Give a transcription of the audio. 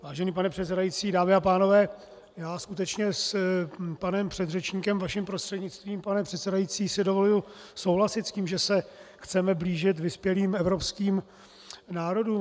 Vážený pane předsedající, dámy a pánové, já skutečně s panem předřečníkem, vaším prostřednictvím, pane předsedající, si dovoluji souhlasit s tím, že se chceme blížit vyspělým evropským národům.